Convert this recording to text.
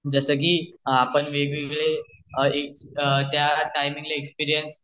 जस कि आपण त्यावेळेला वेग वेगळे त्या टाइम ल एक्सपिरियन्स